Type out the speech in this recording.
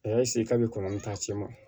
A y'a k'a bɛ kɔlɔn ta ci ma